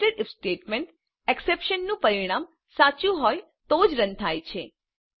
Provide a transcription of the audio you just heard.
nested if statement એક્ષપ્રેશનનું પરિણામ સાચું હોય તો જ રન થાય છે